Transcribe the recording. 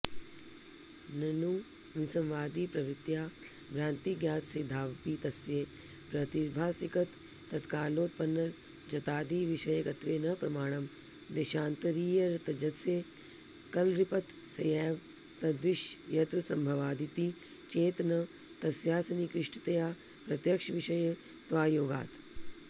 ननु विसंवादिप्रवृत्त्या भ्रान्तिज्ञातसिद्धावपि तस्य प्रातिभासिकतत्कालोत्पन्नरजतादिविषयकत्वे न प्रमाणम् देशान्तरीयरजतस्य क्लृप्तस्यैव तद्विषयत्वसम्भवादिति चेत् न तस्यासन्निकृष्टतया प्रत्यक्षविषयत्वायोगात्